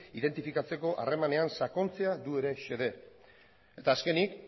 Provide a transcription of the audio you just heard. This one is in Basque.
identifikatzeko harremanean sakontzea du ere xede eta azkenik